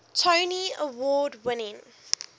tony award winning